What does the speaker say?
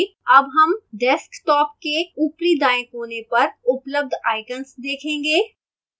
अब हम desktop के ऊपरी दाएं कोने पर उपलब्ध icons देखेंगे